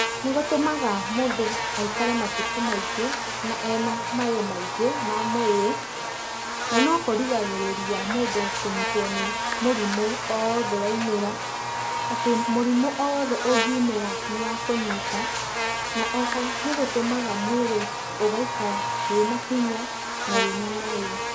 Nĩ gũtũmaga mũndũ aikare matuko maingĩ na ena mayo maingĩ ma mwĩrĩ, na no kũrigagĩrĩria mũndũ kũnyitwo nĩ mũrimũ o wothe waimĩra, atĩ mũrimũ o wothe ũngĩumĩra nĩ wakũnyita, na oho nĩ gũtũmaga mwĩrĩ ũgaikara wĩna hinya na wĩna mayo.